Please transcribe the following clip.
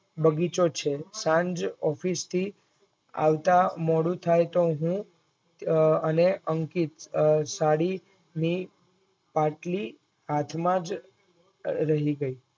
બગીચો છે સાંજ ઓફિસથી આવતા મોડું થાય તો હું અને અંકિત અ સાડીની પાટલી હાથમાં જ રહી ગઇ